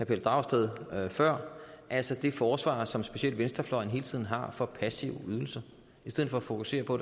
pelle dragsted før altså det forsvar som specielt venstrefløjen hele tiden har for passive ydelser i stedet for at fokusere på